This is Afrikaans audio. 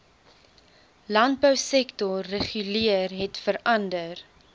landbousektor reguleer hetverander